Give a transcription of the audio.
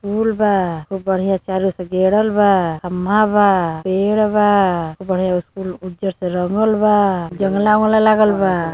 फूल बा। खूब बढ़िया से चारो ओर से गेरल बा। खंभा बा। पेड़ बा। खूब बढ़िया कुल उज्जर से रंगल बा। जंगला वोगला लागल बा।